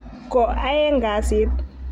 Ko aeng' kasit.